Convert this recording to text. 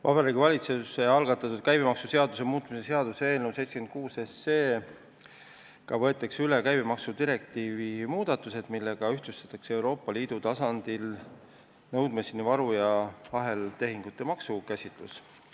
Vabariigi Valitsuse algatatud käibemaksuseaduse muutmise seaduse eelnõuga 76 võetakse üle käibemaksudirektiivi muudatused, millega ühtlustatakse Euroopa Liidu tasandil nõudmiseni varu ja aheltehingute maksukäsitlus.